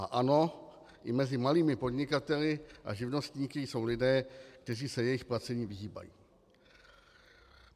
A ano, i mezi malými podnikateli a živnostníky jsou lidé, kteří se jejich placení vyhýbají.